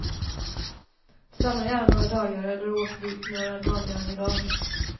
Stanna gärna några dagar, eller åk dit några dagar i rad.